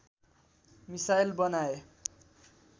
missile बनाए